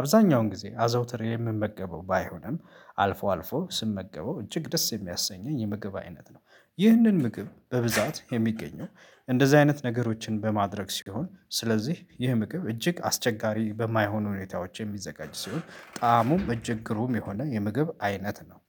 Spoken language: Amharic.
አብዛኛውን ጊዜ አዘውትር የምመገበው ባይሆንም አልፎ አልፎ ስመገበው እጅግ ደስ የሚያሰኘኝ የምግብ አይነት ነው። ይህንን ምግብ በብዛት የሚገኘው እንደዚህ አይነት ነገሮችን በማድረግ ሲሆን ስለዚህ ይህ ምግብ እጅግ አስቸጋሪ በማይሆኑ ሁኔታዎች የሚዘጋጅ ሲሆን ጣእሙም እጅግ ግሩም የሆነ የምግብ አይነት ነው